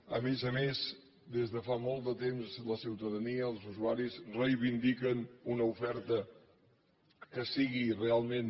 a més a més des de fa molt de temps la ciutadania els usuaris reivindiquen una oferta que sigui realment